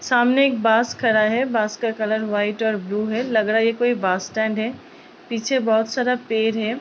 सामने एक बास खड़ा है। बास का कलर वाइट एंड ब्लू है। लग रहा है ये कोई बास स्टैंड है। पीछे बहोत सारा पेड़ है।